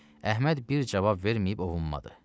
Əhməd bir cavab verməyib ovunmadı.